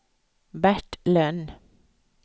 Bert Lönn